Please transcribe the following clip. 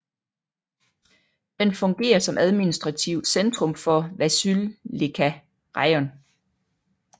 Den fungerer som administrativt centrum for Vasylivka rajon